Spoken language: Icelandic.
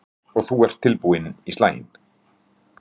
Una Sighvatsdóttir: Og þú ert tilbúinn í slaginn?